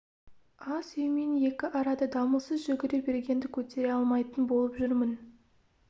ас үй мен екі арада дамылсыз жүгіре бергенді көтере алмайтын болып жүрмін